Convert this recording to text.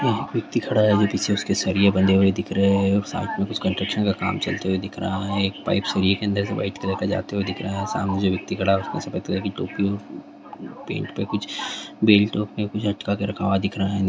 एक आदमी खड़ा है उसके पीछे सरिये नजर आ रहे हैं कुछ निर्माण कार्य भी चल रहा है शरीर से एक पाइप गुजरता हुआ नजर आ रहा है उनके सामने जो शख्स खड़ा है उसने सफेद टोपी और पेट पर बेल्ट पहन रखी है।